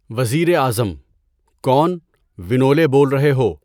وزیر اعظم: کون، ونولے بول رہے ہو؟